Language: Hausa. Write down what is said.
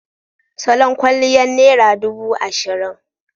Salon kwalliyar naira dubu ashirin.